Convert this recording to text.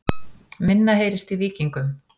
Minna heyrist í Víkingum